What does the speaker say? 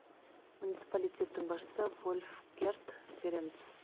муниципалитеттің басшысы вольфгерд берендс